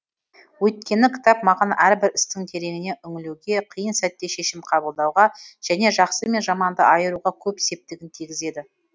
өйткені кітап маған әрбір істің тереңіне үңілуге қиын сәтте шешім қабылдауға және жақсы мен жаманды айыруға көп септігін тигізеді